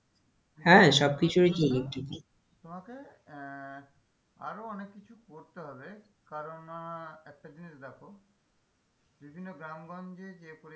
হ্যাঁ সবকিছুই তো electric এ তোমাকে আহ আরও অনেক কিছু করতে হবে কারণ আহ একটা জিনিস দেখো বিভিন্ন গ্রামগঞ্জে যে পরিমান,